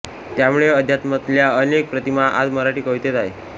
त्यामुळे अध्यात्मातल्या अनेक प्रतिमा आज मराठी कवितेत आहे